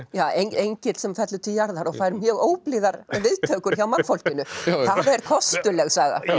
já engill sem fellur til jarðar og fær mjög óblíðar viðtökur hjá mannfólkinu það er kostuleg saga